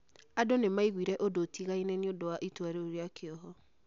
Andũ nĩ maiguire ũndũ ũtigaine nĩ ũndũ wa itua rĩu rĩa kĩoho .